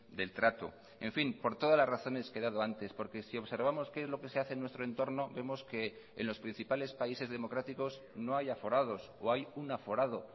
del trato en fin por todas las razones que he dado antes porque si observamos qué es lo que se hace en nuestro entorno vemos que en los principales países democráticos no hay aforados o hay un aforado